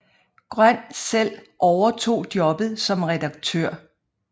Grøn selv overtog jobbet som redaktør